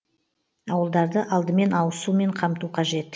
ауылдарды алдымен ауыз сумен қамту қажет